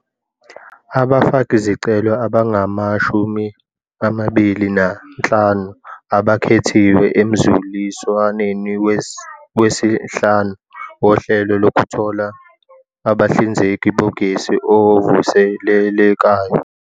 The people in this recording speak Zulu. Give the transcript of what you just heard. Abafakizicelo abangama-25 abakhethiwe emzuliswa neni wesihlanu woHlelo Lokuthola Abahlinzeki Bogesi Ovuselelekayo